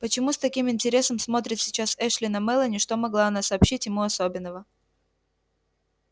почему с таким интересом смотрит сейчас эшли на мелани что могла она сообщить ему особенного